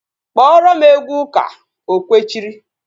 Kpọọrọ m egwu ụka! O kwechiri